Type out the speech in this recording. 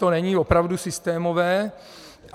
To není opravdu systémové.